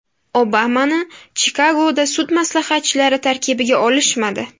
Obamani Chikagoda sud maslahatchilari tarkibiga olishmadi.